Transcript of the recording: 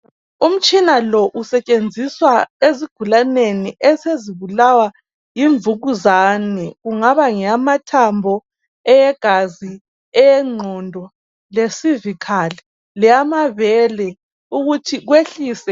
Umtshina lo usetshenziswa ezigulaneni esezibulawa yimvukuzane. Kungaba ngeyamathambo ,eyegazi, eyengqondo ,le"cervical" leyamabele ukuthi wehlise.